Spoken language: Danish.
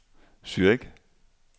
Zürich